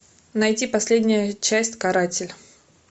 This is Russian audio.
найти последняя часть каратель